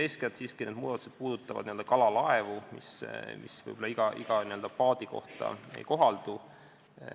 Eeskätt siiski puudutavad need muudatused kalalaevu, võib-olla igale n-ö paadile need ei kohaldu.